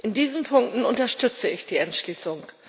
In diesen Punkten unterstütze ich die Entschließung.